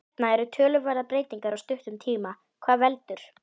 Hérna eru töluverðar breytingar á stuttum tíma, hvað veldur?